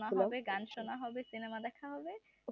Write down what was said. গান শোনা হবে cinema দেখা হবে